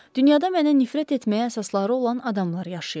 Dünyada mənə nifrət etməyə əsasları olan adamlar yaşayırlar.